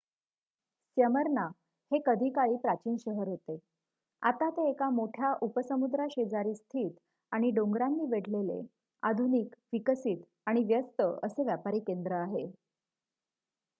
Smyrna हे कधी काळी प्राचीन शहर होते आता ते एका मोठ्या उपसमुद्राशेजारी स्थित आणि डोंगरांनी वेढलेले आधुनिक विकसित आणि व्यस्त असे व्यापारी केंद्र आहे